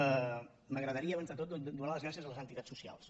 a mi m’agradaria abans de tot donar les gràcies a les entitats socials